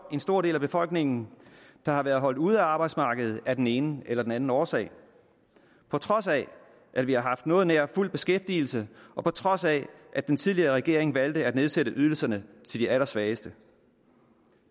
en stor del af befolkningen der har været holdt ude af arbejdsmarkedet af den ene eller den anden årsag på trods af at vi har haft noget nær fuld beskæftigelse og på trods af at den tidligere regering valgte at nedsætte ydelserne til de allersvageste